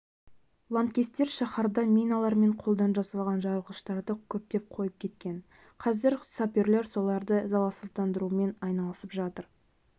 лаңкестер шаһарда миналар мен қолдан жасалған жарылғыштарды көптеп қойып кеткен қазір саперлер соларды залалсыздандырумен айналысып жатыр